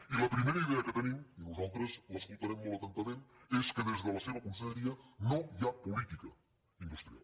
i la primera idea que tenim i nosaltres l’escoltarem molt atentament és que des de la seva conselleria no hi ha política industrial